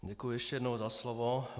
Děkuji ještě jednou za slovo.